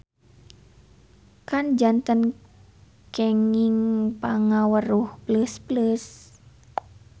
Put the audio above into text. Kan janten kenging pangaweruh pleus-pleus.